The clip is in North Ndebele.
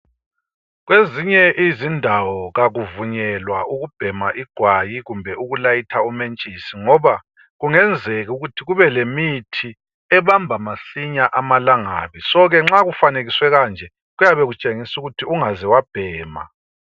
Kwezinye izindawo kakuvunyelwa ukubhema igwayi kumbe ukulayitha umentshisi ngoba kungenzeka ukuthi kube lemithi ebamba masinya amalangabi so ke, nxa kufanekiswe kanje kuyabe kutshengisa ukuthi ungaze wabhema.